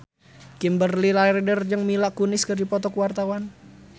Kimberly Ryder jeung Mila Kunis keur dipoto ku wartawan